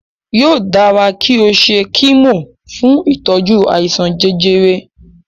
Yóò dára kí o ṣe kímò fún ìtọ́jú àìsàn jẹjẹrẹ.